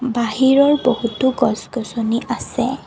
বাহিৰৰ বহুতো গছ-গছনি আছে।